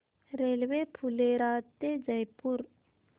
railway Phulera ते जयपूर